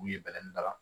U ye bɛlɛnin da la